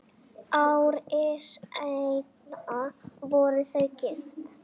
Ári seinna voru þau gift.